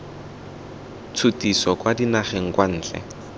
tshutiso kwa dinageng kwa ntle